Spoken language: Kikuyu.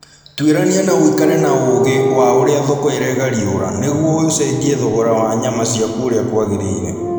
Twĩrania na ũikare na ũgi wa ũria thoko iregariũra nĩguo ucenjie thogora wa nyama ciaku ũria kwagĩrĩire